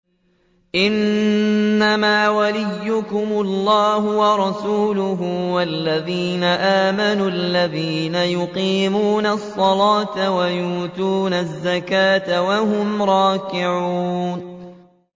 إِنَّمَا وَلِيُّكُمُ اللَّهُ وَرَسُولُهُ وَالَّذِينَ آمَنُوا الَّذِينَ يُقِيمُونَ الصَّلَاةَ وَيُؤْتُونَ الزَّكَاةَ وَهُمْ رَاكِعُونَ